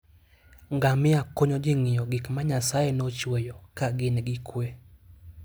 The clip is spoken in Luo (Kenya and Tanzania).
Ngamia konyo ji ng'iyo gik ma Nyasaye nochueyo ka gin gi kuwe